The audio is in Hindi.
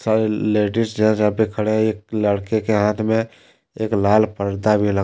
और लेडीज पर खड़े है एक लड़के के हाथ में अल लाल पर्दा भी लगा--